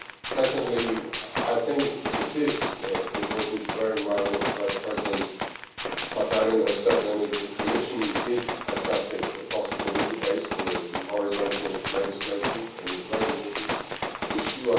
Secondly, I think it is important to bear in mind what Vice President Katainen has said, namely that the Commission is assessing a possible legal base for the horizontal legislation on this very important issue.